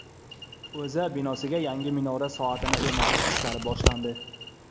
O‘zA binosiga yangi minora soatini o‘rnatish ishlari boshlandi.